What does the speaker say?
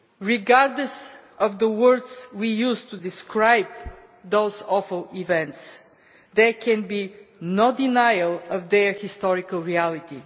Regardless of the words we use to describe those awful events, there can be no denial of their historical reality.